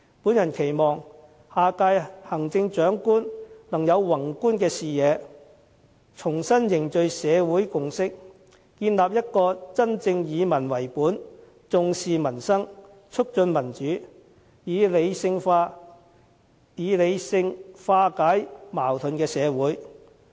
我期望下屆行政長官能有宏觀的視野，重新凝聚社會共識，建立一個真正以民為本，重視民生，促進民主，以理性化解矛盾的社會。